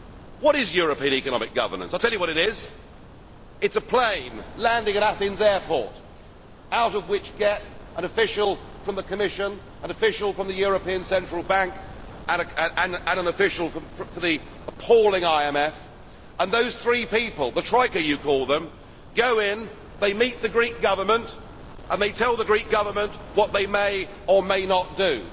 What is European economic governance? I will tell you what it is it is a plane landing in Athens airport out of which get an official from the Commission, an official from the European Central Bank and an official from the appalling IMF, and those three people the troika you call them go in, they meet the Greek Government and they tell the Greek Government what they may or may not do.